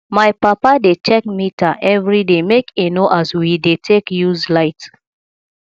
my papa dey check meter everyday make e know as we dey take use light